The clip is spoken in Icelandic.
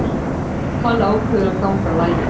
Hann ákveður að ganga á lagið.